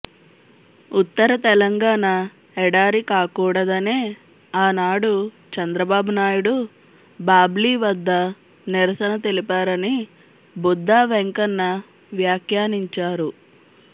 ఉత్తర తెలంగాణ ఎడారి కాకూడదనే ఆనాడు చంద్రబాబు నాయుడు బాబ్లీ వద్ద నిరసన తెలిపారని బుద్దా వెంకన్న వ్యాఖ్యానించారు